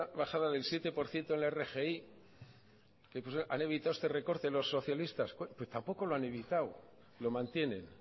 bajada del siete por ciento en la rgi han evitado este recorte los socialistas pues tampoco lo han evitado lo mantienen